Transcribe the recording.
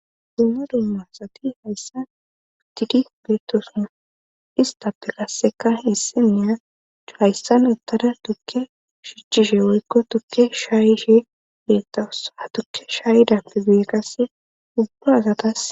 Dumma dumma asati hayssan utidi beettosunna istappe qasseka hissenneya c hayssan uttada tukke shichchishe woykko tukke shaayishe beetta ussa ha tukke shaayidampe guye qasse ubba azatas.